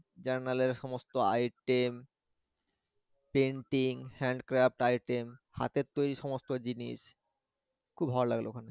journal এর সমস্ত item painting, Handcraft item হাতের তৈরি সমস্ত জিনিস খুব ভালো লাগলো ওখানে।